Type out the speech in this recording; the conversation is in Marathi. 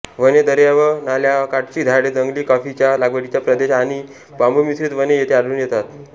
वने दर्या व नाल्याकाठची झाडे जंगले कॉफीच्या लागवडीचा प्रदेश आणि बांबूमिश्रीत वने येथे आढळून येतात